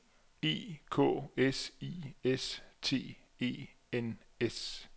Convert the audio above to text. E K S I S T E N S